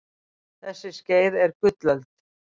þessi skeið eru gullöld